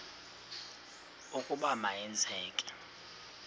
ukuba ma yenzeke